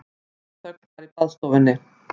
Dauðaþögn var í baðstofunni.